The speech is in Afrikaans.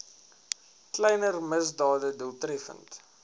kleiner misdade doeltreffend